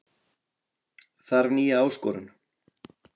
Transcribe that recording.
Þarf nýja áskorun